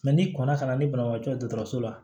n'i kɔnna ka na ni banabagatɔ ye dɔgɔtɔrɔso la